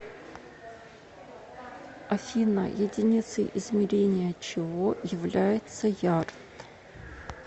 афина единицей измерения чего является ярд